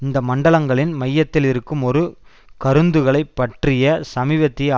இந்த மண்டலங்களின் மையத்தில் இருக்கும் ஒரு கருந்துளைப் பற்றிய சமீபத்திய